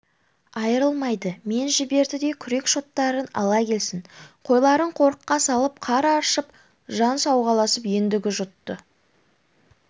айрылмайды мен жіберді де күрек-шоттарын ала келсін қойларын қорыққа салып қар аршып жан сауғаласын ендігі жұтты